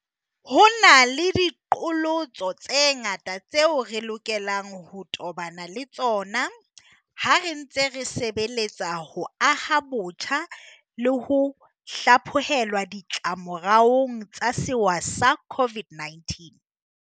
Ho na le diqholotso tse ngata tseo re lokelang ho tobana le tsona ha re ntse re sebeletsa ho aha botjha le ho hlaphohelwa ditlamoraong tsa sewa sa COVID-19.